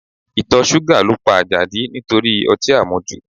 Ìtọ̀ ṣúgà ló pa Àjàdí nítorí ọtí àmujù